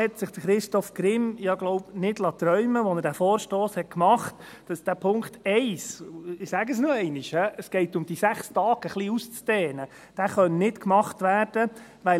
Also: Christoph Grimm hat sich das ja wohl nicht träumen lassen, als er diesen Vorstoss machte, dass der Punkt 1 – und ich sage es noch einmal, es geht darum, diese 6 Tage etwas auszudehnen – nicht umgesetzt werden kann,